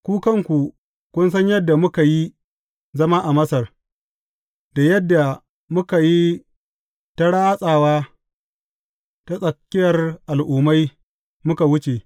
Ku kanku kun san yadda muka yi zama a Masar, da yadda muka yi ta ratsawa ta tsakiyar al’ummai muka wuce.